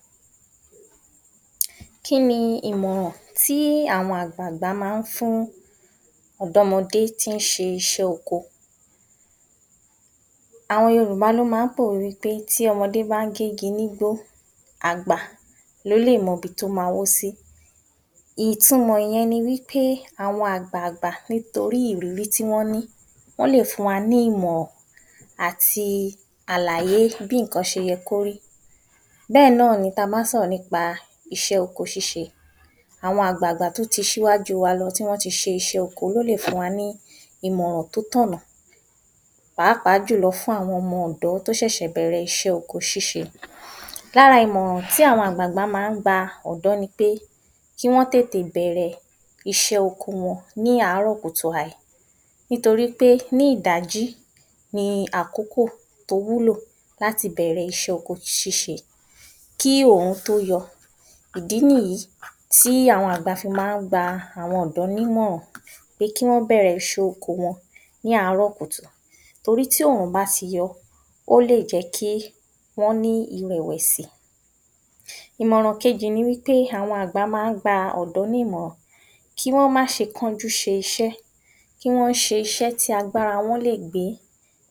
00869 Kí ni ìmò̩ràn tí àwo̩n àgbààgbà máa ń fún ò̩dó̩mo̩dé tí ń s̩e is̩é̩ oko? Àwo̩n Yorùbá ló máa ń pòwé pé “Tí o̩mo̩dé bá ń gé igi nígbò àgbà ló lè mo̩ ibi tó ma wó sí”. Ìtumò̩ ìye̩n ni wípé àwo̩n àgbààgbà nítorí ìrírí tí wó̩n ní wó̩n lè fún wa ní ìmò̩ràn àti àlàyé bí nǹkan s̩e ye̩ kó rí, bé̩è̩ náà ni bí a bá sò̩rò̩ nípa is̩é̩ oko s̩ís̩e. Àwo̩n agbààgbà tó ti s̩íwájú wa lo̩ tí wó̩n ti s̩e is̩é̩ oko ló lè fún wa ní ìmò̩ràn tó tò̩nà, pàápàá jùlo̩ fún àwo̩n o̩mo̩ ò̩dó̩ tó s̩è̩s̩è̩ bè̩rè̩ is̩é̩ oko s̩ís̩e. Lára àwo̩n ìmò̩ràn tí àwo̩n àgbààgbà máa ń gba ò̩dó̩ ni pé kí wó̩n tètè bè̩rè̩ is̩é̩ oko wo̩n ní ààrò̩ kùtù hàì, nítorí pé ní ìdájí ni àkókò tó wúlò láti bè̩rè̩ is̩é̩ oko s̩ís̩e. Kí òòrùn tó yo̩, ìdí nìyí tí àwo̩n àgbà fi máa ń gba àwo̩n ò̩dó̩ nímò̩ràn pé kí wo̩n bè̩rè̩ is̩é̩ oko s̩ís̩e wo̩n ní ààrò̩ kùtù torí tí òòrùn bá tí yo̩ ọ lè jé̩ kí wó̩n ní ìrè̩wè̩sì. Ìmò̩ràn kejì ni wí pé, àwo̩n àgbà máa ń gba ò̩dó̩ nimò̩ràn kí wó̩n má s̩e kánjú s̩e is̩é̩, kí wó̩n s̩e is̩é̩ tí agbára wo̩n léè gbé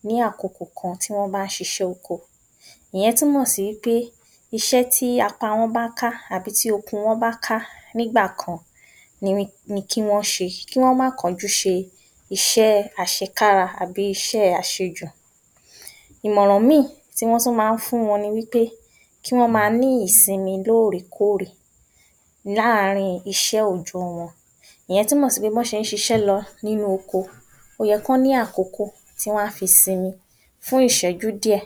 ní àkokò kan tí wó̩n bá ń s̩e is̩é̩ oko. Ìye̩n túmò̩ sí pé is̩é̩ tí apá wo̩n bá ká àbí tí okun wo̩n bá ká nígbà kan ni kí wó̩n s̩e, kí wó̩n má kánjú s̩e is̩é̩ às̩ekára àbí iṣé̩ àṣejù. Ìmòràn mìíì tí wó̩n tún máa ń fún wo̩n ni wípé kí wó̩n máa ní ìsinmi lóòrèkóòrè láàrin is̩é̩ òòjó̩ wo̩n, ìye̩n túmò̩ sí pé bí wó̩n s̩e ń s̩is̩é̩ lo̩ nínú oko ó ye̩ kí wó̩n ní àkókò tí wá fi sinmi fún ìs̩é̩jú díè̩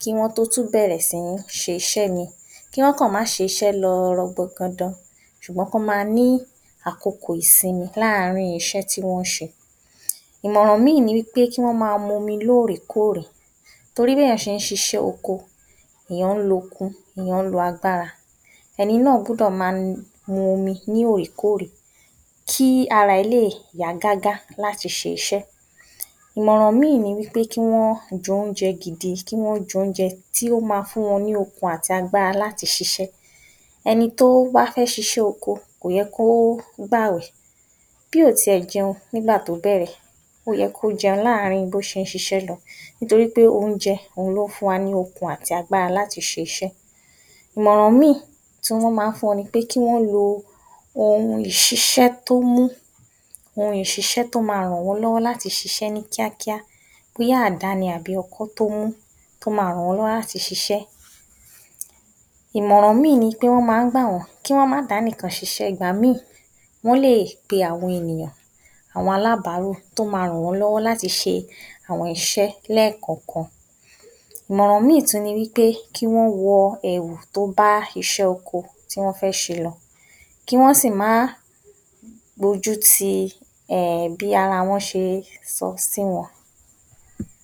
kí wó̩n tó tún bè̩rè̩ sí ní s̩e is̩é̩ mìíì. Kí wó̩n kàn má s̩is̩é̩ lo̩ rangbo̩ndan s̩ùgbó̩n kí wó̩n máa ní àkokò isinmi láàrin iṣẹ́ tí wó̩n ń s̩e. Ìmò̩ràn mìíì ní pé kí wó̩n máa mu omi lóòrèkóòrè, torí bí èèyàn s̩e ń s̩is̩é̩ oko èèyàn ń lookun èèyàn ń lo agbára, e̩ni náà gbúdò̩ máa mu omi lóòrèkóòrè kí araa rè̩ lè yá gágá láti s̩e is̩é̩. Ìmò̩ràn mi ni wí pé kí wó̩n je̩ oúnje̩ gidi kí wó̩n je̩ oúnje̩ tó máa fún wo̩n ní okun àti agbára láti ṣiṣé̩. E̩ni tó bá fé̩ s̩is̩é̩ oko kò ye̩ kó gbàwè̩, bí ò tiè̩ jẹun nígbàtó bè̩rè̩ ó ye̩ kó je̩un láàrin bó s̩e ń s̩is̩é̩ lo̩, nítorí oúnje̩ ló ń fún wa ní okun àti agbára láti s̩is̩é̩. Ìmò̩ràn mìíì tí wọ́n máa ń fún wo̩n ni pé kí wó̩n lo ohun ìṣis̩é̩ tó mú, ohun ìṣis̩é̩ tó máa rànwó̩nló̩wó̩ láti s̩is̩é̩ kíákíá, bí àdá ni àbí ọkọ́ tó mú tó máa rànwó̩nló̩wó̩ láti s̩is̩é̩. Ìmò̩ràn mìíì ni pé tí wó̩n máa ń gbà wó̩n ni pé kí wó̩n máa dánìkan s̩is̩é̩, ìgbà mìíì wó̩n lè be̩ àwo̩n ènìyàn àwo̩n alábàárù tó máa rànwó̩nló̩wó̩ láti s̩e àwo̩n is̩é̩ lé̩kò̩ò̩kan. Ìmò̩ràn míì tún ni wípé kí wó̩n wo̩ èwù tó bá is̩é̩ oko tí wó̩n fé̩ s̩e lo̩, kí wó̩n sì má gbójúti um bí ara wọn s̩e so̩ sí wo̩n.